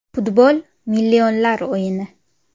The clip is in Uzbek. Futbol millionlar o‘yini.